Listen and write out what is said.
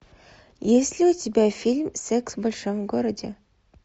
есть ли у тебя фильм секс в большом городе